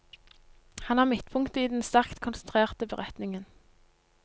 Han er midtpunktet i den sterkt konsentrerte beretningen.